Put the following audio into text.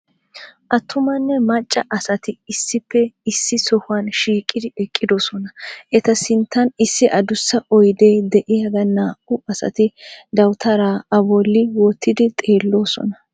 Attumanne macca asati issippe issi sohuwan shiiqqidi eqqiddossona. Eta sinttan issi addussa oydee de'iyagan naa"u asati dawutaara a bolli wottidi xeelloosona.